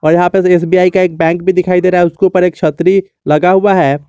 यहां पे एसबीआई का एक बैंक दिखाई दे रहा है उसके ऊपर एक छतरी लगा हुआ है।